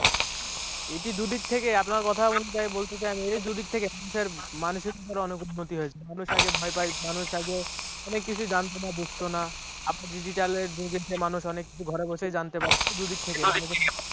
এটি দু’দিক থেকে আপনার কথা অনুযায়ীই বলতে চাই আমি দুদিক থেকেই মানুষের মানুষের দিক থেকে অনেক উন্নতি হয়েছে মানুষ অনেক ভয় পায় মানুষ আগে কিছু জানতো না বুঝতো না আপনি digital এর যুগ মানুষ অনেক কিছু ঘরে বসে জানতে পারছে দু দিক থেকে